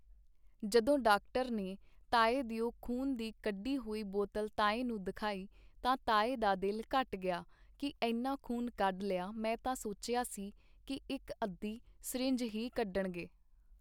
ਜਦੋਂ ਡਾਕਟਰ ਨੇ ਤਾਏ ਦਿਓ ਖ਼ੂਨ ਦੀ ਕੱਢੀ ਹੋਈ ਬੋਤਲ ਤਾਏ ਨੂੰ ਦਿਖਾਈ ਤਾਂ ਤਾਏ ਦਾ ਦਿਲ ਘਟ ਗਿਆ ਕੀ ਏਨਾ ਖ਼ੂਨ ਕੱਢ ਲਿਆ ਮੈਂ ਤਾਂ ਸੋਚਿਆ ਸੀ ਕੀ ਇੱਕ ਅੱਧੀ ਸਰਿੰਜ ਹੀ ਕੱਢਣਗੇ.